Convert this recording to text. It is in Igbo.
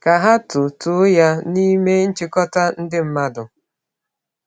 Ka ha too too ya n’ime nchikọta ndị mmadụ.